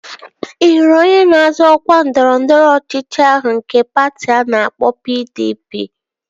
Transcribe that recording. Ị hụrụ onye na-azọ ọkwa ndọrọndọrọ ọchịchị ahụ nke patị a na-akpọ PDP?